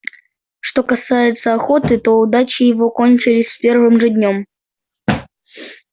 что касается охоты то удачи его кончились с первым же днём